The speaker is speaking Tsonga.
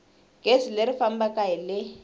gezi leri fambaka hi le